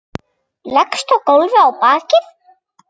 Leggst á gólfið á bakið.